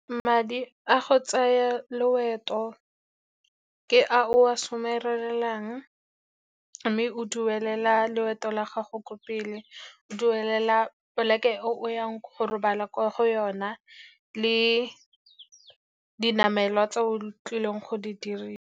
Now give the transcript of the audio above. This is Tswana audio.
Madi a go tsaya loeto ke a o a somarelang, mme o duelela loeto la gago ko pele. O duelela plek-e o yang go robala kwa go yona, le dinamelwa tse o tlileng go di dirisa.